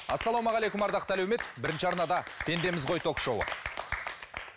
ассалаумағалейкум ардақты әлеумет бірінші арнада пендеміз ғой ток шоуы